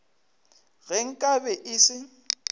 ge nka be e se